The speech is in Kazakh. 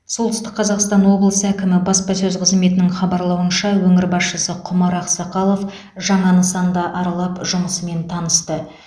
солтүстік қазақстан облысы әкімі баспасөз қызметінің хабарлауынша өңір басшысы құмар ақсақалов жаңа нысанды аралап жұмысымен танысты